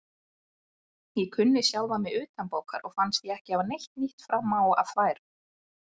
Ég kunni sjálfan mig utanbókar og fannst ég ekki hafa neitt nýtt fram að færa.